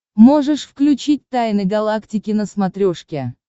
можешь включить тайны галактики на смотрешке